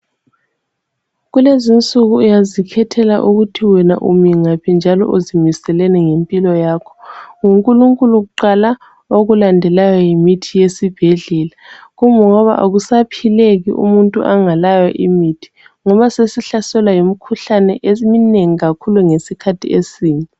Kulezinsuku uyazikhethela ukuthi wena umi ngaphi njalo uzimiseleni ngempilo yakho, NguNkulunkulu kuqala, okulandelayo yimithi yesibhedlala. Kungoba akusaphileki umuntu angalayo imithi ngoba sesihlaselwa yimikhuhlane esminengi kakhulu ngesikhathi esim